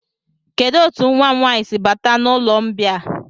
Kedụ etu nwa m nwaanyị si bata n'ụlọmbịa a?